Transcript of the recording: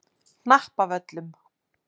Hnappavöllum